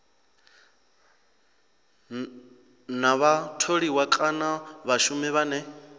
na vhatholiwa kana vhashumi vhane